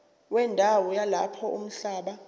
wendawo yalapho umhlaba